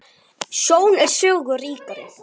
Þín Ásdís Eva.